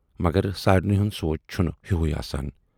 مگر سارِنٕے ہُند سونچ چھُنہٕ ہِوُے آسان۔